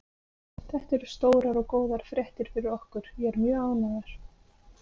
Þetta eru stórar og góðar fréttir fyrir okkur, ég er mjög ánægður.